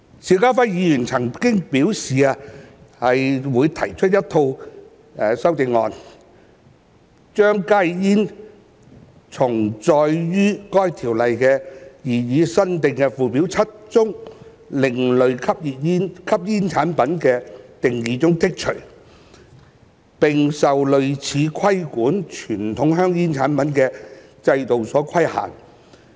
邵家輝議員曾表示擬提出一套修正案，將加熱煙從載於該條例擬議新訂附表7中另類吸煙產品的定義中剔除，並受類似規管傳統香煙產品的制度所規限。